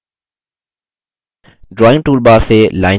drawing toolbar से line चुनें